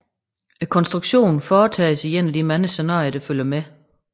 Konstruktionen foretages i en af de mange scenarier der følger med